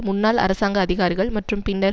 முன்னாள் அரசாங்க அதிகாரிகள் மற்றும் பின்னர்